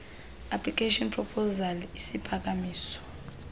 application proposal isiphakamiso